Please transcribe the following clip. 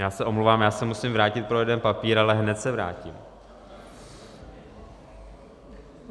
Já se omlouvám, já se musím vrátit pro jeden papír, ale hned se vrátím.